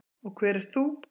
Og hver ert þú?